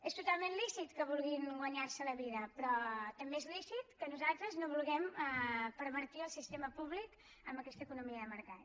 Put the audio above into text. és totalment lícit que vulguin guanyar se la vida però també és lícit que nosaltres no vulguem pervertir el sistema públic amb aquesta economia de mercat